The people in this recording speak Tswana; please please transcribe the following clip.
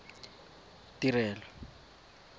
tirelo